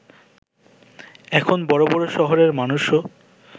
এখন বড় বড় শহরের মানুষও